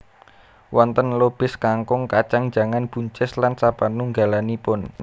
Wonten lobis kangkung kacang jangan buncis lan sapanunggalanipun